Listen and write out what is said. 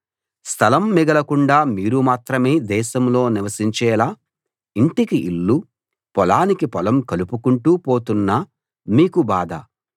స్థలం మిగలకుండా మీరు మాత్రమే దేశంలో నివసించేలా ఇంటికి ఇల్లు పొలానికి పొలం కలుపుకుంటూ పోతున్న మీకు బాధ